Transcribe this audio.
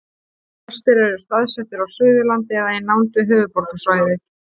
flestir eru staðsettir á suðurlandi eða í nánd við höfuðborgarsvæðið